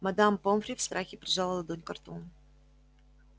мадам помфри в страхе прижала ладонь ко рту